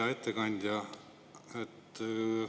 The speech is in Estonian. Hea ettekandja!